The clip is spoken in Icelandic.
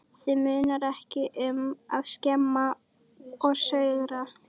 Þig munar ekki um að skemma og saurga.